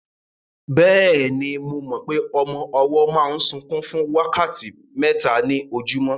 Bẹ́ẹ̀ni, mo mọ pé ọmọ ọwọ́ máa ń sunkún fún wákàtí mẹ́ta ní ojúmọ́